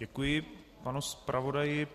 Děkuji panu zpravodaji.